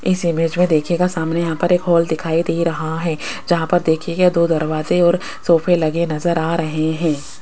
इस इमेज में देखिएगा सामने यहां पर एक हॉल दिखाई दे रहा है जहां पर देखिये ये दो दरवाजे और सोफे लगे नजर आ रहे हैं।